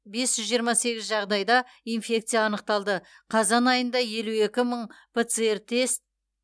бес жүз жиырма сегіз жағдайда инфекция анықталды қазан айында елу екі мың пцр тест